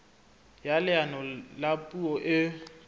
ya leano la puo e